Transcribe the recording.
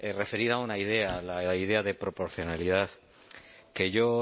referida a una idea la idea de proporcionalidad que yo